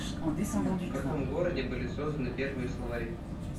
в каком городе были созданы первые словари